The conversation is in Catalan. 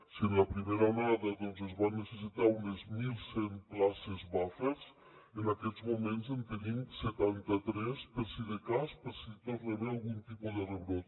si en la primera onada doncs es van necessitar unes mil cent places buffer en aquests moments en tenim setanta tres per si de cas per si hi torna a haver algun tipus de rebrot